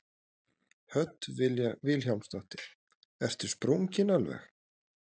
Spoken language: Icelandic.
Hödd Vilhjálmsdóttir: Ertu sprunginn alveg?